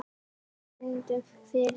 En við reynum, fyrir þig.